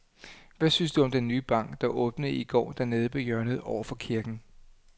Hvad synes du om den nye bank, der åbnede i går dernede på hjørnet over for kirken?